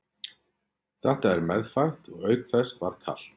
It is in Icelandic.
Þetta er meðfætt og auk þess var kalt.